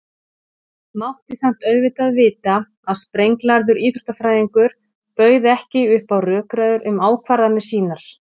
Mátti samt auðvitað vita að sprenglærður íþróttafræðingur bauð ekki upp á rökræður um ákvarðanir sínar.